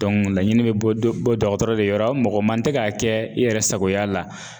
laɲini be bɔ dɔgɔtɔrɔ de yɔrɔ, mɔgɔ man tɛ ka kɛ i yɛrɛ sagoya la.